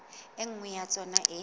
e nngwe ya tsona e